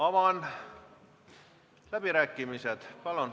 Avan läbirääkimised.